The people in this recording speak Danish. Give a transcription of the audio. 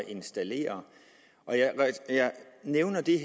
installere jeg nævner det